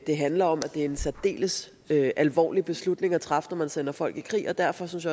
det handler om at det er en særdeles alvorlig beslutning at træffe når man sender folk i krig og derfor synes